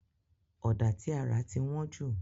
Ọ̀dà tí a rà tí wọ́n ju